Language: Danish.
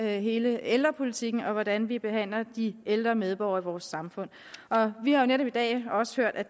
hele ældrepolitikken og hvordan vi behandler de ældre medborgere i vores samfund vi har jo netop i dag også hørt at